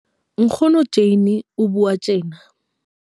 Nkgono Jane o bua tjena.